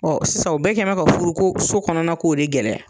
sisan u bɛɛ kɛn mɛ ka furu ko so kɔnɔna ko de gɛlɛya.